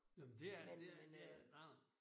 Nåh men det er det er det er nej nej